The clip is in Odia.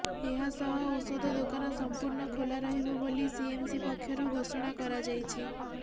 ଏହାସହ ଔଷଧ ଦୋକାନ ସମ୍ପୂର୍ଣ୍ଣ ଖୋଲା ରହିବ ବୋଲି ସିଏମସି ପକ୍ଷରୁ ଘୋଷଣା କରାଯାଇଛି